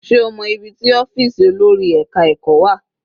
Sé o mọ́ ibi tí ọ́fìsì olórí ẹka ẹ̀kọ́ wà?